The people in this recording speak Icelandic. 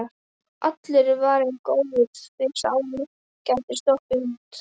Allur er varinn góður, því Sámur gæti sloppið út.